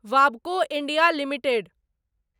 वाबको India limited